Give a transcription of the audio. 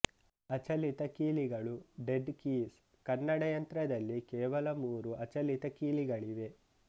ಅಚಲಿತ ಕೀಲಿಗಳು dead keys Kannada ಯಂತ್ರದಲ್ಲಿ ಕೇವಲ ಮೂರು ಅಚಲಿತ ಕೀಲಿಗಳಿವೆ